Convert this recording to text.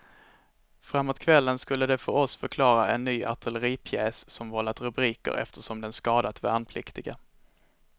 Framåt kvällen skulle de för oss förklara en ny artilleripjäs som vållat rubriker eftersom den skadat värnpliktiga.